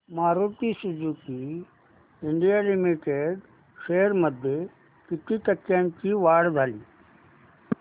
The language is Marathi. Maruti Suzuki India Limited shares मध्ये किती टक्क्यांची वाढ झाली